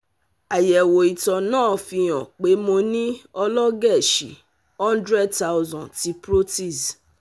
Ayẹwo ito naa fi han pe mo ni ọlọgẹẹsi hundred thousand ti Proteus